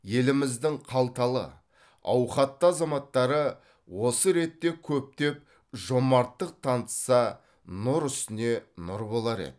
еліміздің қалталы ауқатты азаматтары осы ретте көптеп жомарттық танытса нұр үстіне нұр болар еді